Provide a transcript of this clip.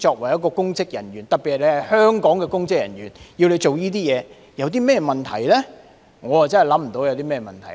我真的想不到，作為香港的公職人員，做這些事情有何問題。